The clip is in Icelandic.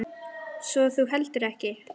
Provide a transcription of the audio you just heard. Svo þú heldur ekki?